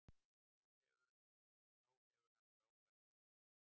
Þá hefur hann frábært hugarfar.